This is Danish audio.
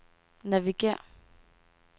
navigér